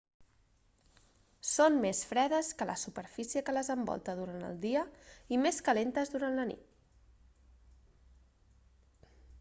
són més fredes que la superfície que les envolta durant el dia i més calentes durant la nit